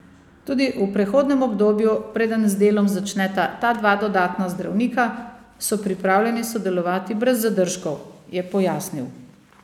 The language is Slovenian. Tudi v prehodnem obdobju preden z delom začneta ta dva dodatna zdravnika, so pripravljeni sodelovati brez zadržkov, je pojasnil.